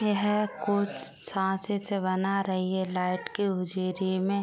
यह कुछ साँचे से बना रही है लाइट के उजिरे में।